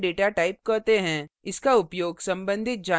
इसे compound datatype compound data type कहते हैं